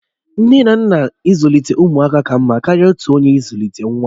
Nne na nna ịzụlite ụmụaka ka mma karịa otu onye ịzụlite nwa